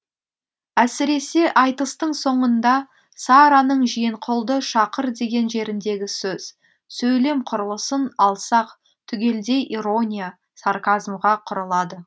әсіресе айтыстың соңында сараның жиенқұлды шақыр деген жеріндегі сөз сөйлем құрылысын алсақ түгелдей ирония сарказмға құрылады